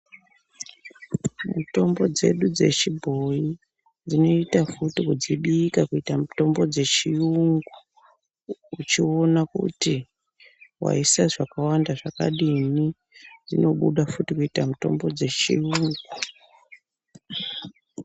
Mitombo dzedu dzechibhoyi dzinoita futi kudzibika kuita mitombo dzechiyungu uchiona kuti waisa zvakawanda zvakadini, inobuda futi kuita mitombo dzechiyungu.